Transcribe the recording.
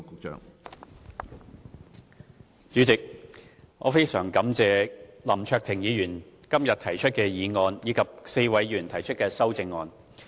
主席，我非常感謝林卓廷議員今天提出議案，以及4位議員提出修正案。